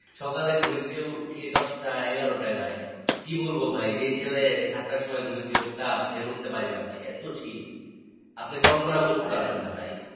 সকালে ঘুম থেকে উঠি দশটা এগারোটায় ভাই, কি বলবো ভাই যে ছেলে সাতটার সময় ঘুম থেকে উঠতাম সেখানে উঠতে পারিনা ভাই এতো শীত আপনি কল্পনাও করতে পারবেন না ভাই